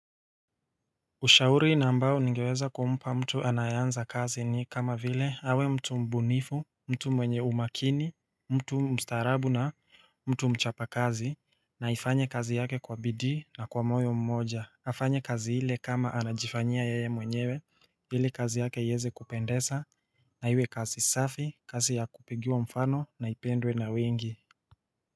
Ushauri na ambao ningeweza kumpa mtu anayeanza kazi ni kama vile awe mtu mbunifu mtu mwenye umakini mtu mstaarabu na mtu mchapa kazi na aifanye kazi yake kwa bidii na kwa moyo mmoja afanye kazi ile kama anajifanyia yeye mwenyewe hili kazi yake iweze kupendeza na iwe kazi safi kazi ya kupigiwa mfano na ipendwe na wengi.